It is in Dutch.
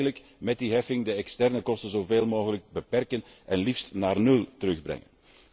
Je moet eigenlijk met die heffing de externe kosten zoveel mogelijk beperken en liefst naar nul terugbrengen.